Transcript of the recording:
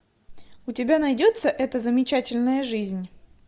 у тебя найдется эта замечательная жизнь